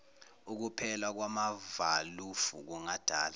ukuphela kwamavalufu kungadala